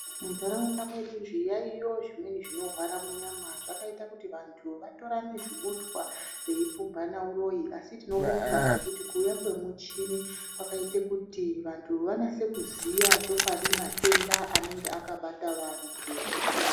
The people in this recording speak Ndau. Mundaraunda mwedu zviyaiyo zvimweni zvinohwara munyama zvakaita kuti vantu vatorane zvibutwa veipumbana uroyi asi tinobonga ngekuti kuuya kwemuchini kwakaite kuti vantu vanase kuziya chokwadi matenda anenge akabata vantu .